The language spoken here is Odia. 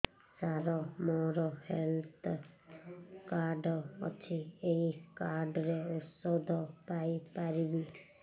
ସାର ମୋର ହେଲ୍ଥ କାର୍ଡ ଅଛି ଏହି କାର୍ଡ ରେ ଔଷଧ ପାଇପାରିବି